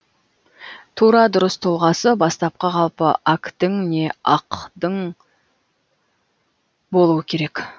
тура дұрыс тұлғасы бастапқы қалпы ақдің не ақдың болуы керек